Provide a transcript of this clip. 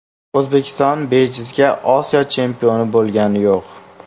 O‘zbekiston bejizga Osiyo chempioni bo‘lgani yo‘q.